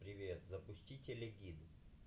привет запусти телегид